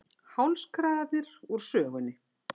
Hálskragarnir úr sögunni